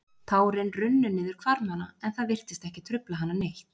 Tárin runnu niður hvarmana en það virtist ekki trufla hana neitt.